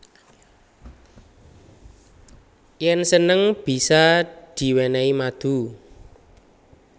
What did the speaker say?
Yen seneng bisa diwenehi madu